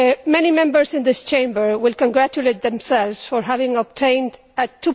Many Members in this Chamber will congratulate themselves on having obtained a